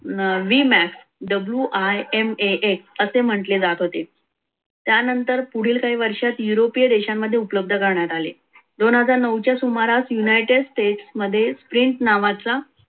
v max w imax असे म्हटले जात होते. त्यानंतर पुढील काही वर्षांत europe देशांमध्ये उपलब्ध करण्यात आले दोन हजार नाहु च्या सुमारास united state मध्ये print नावाचा